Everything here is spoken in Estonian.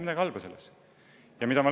Ma ei näe selles mitte midagi halba.